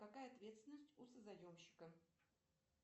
какая ответственность у созаемщика